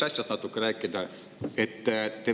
Aga ma tahtsin rääkida natuke teisest asjast.